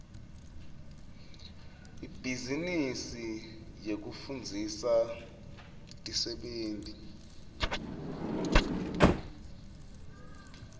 ibhizinisi yekufundzisa tisebenti tahulumende